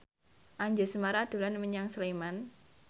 Anjasmara dolan menyang Sleman